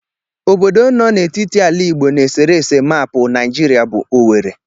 Obodo no n'etiti ala Igbo n'eserese maapụ Naijiria bụ Owere